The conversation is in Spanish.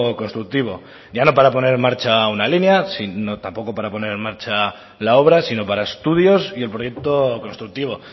constructivo ya no para poner en marcha una línea tampoco para poner en marcha la obra sino para estudios y el proyecto constructivo